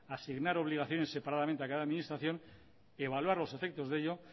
asignar obligaciones separadamente a cada administración evaluar los efectos de ello